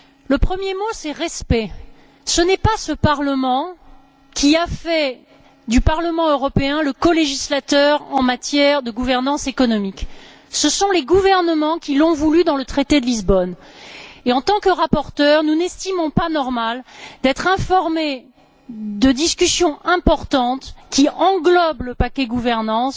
Le premier mot est respect ce n'est pas ce Parlement qui a fait du Parlement européen le colégislateur en matière de gouvernance économique. Ce sont les gouvernements qui l'ont voulu dans le traité de Lisbonne. En tant que rapporteurs, nous n'estimons pas normal d'être informés de discussions importantes qui englobent le paquet gouvernance